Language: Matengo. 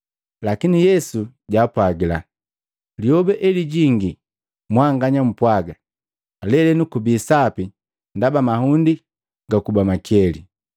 Lakini Yesu jaapwagila, “Lyoba elijingi mwanganya mpwaga, ‘Lelenu kubi sapi ndaba mahundi gakuba makeli!’